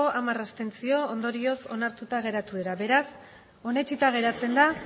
hamar abstentzio ondorioz onartuta geratu dira beraz onetsita geratzen da